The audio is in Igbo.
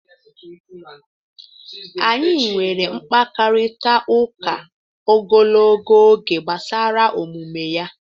Anyị nwere mkparịtaụka ogologo oge gbasara omume ya.